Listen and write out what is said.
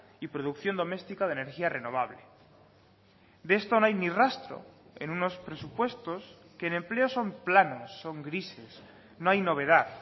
y producción doméstica de energía renovable de esto no hay ni rastro en unos presupuestos que en empleo son planos son grises no hay novedad